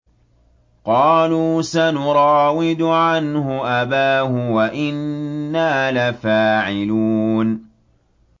قَالُوا سَنُرَاوِدُ عَنْهُ أَبَاهُ وَإِنَّا لَفَاعِلُونَ